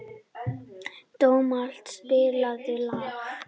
Dómald, spilaðu lag.